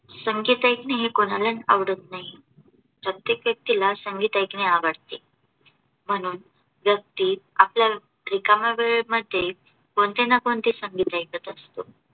संगीत ऐकणे हे कोणालाच आवडत नाही. प्रत्येक व्यक्तीला संगीत ऐकणे आवडते. म्हणून व्यक्ती आपल्या रिकाम्या वेळेमध्ये कोणते ना कोणते संगीत ऐकत असतो.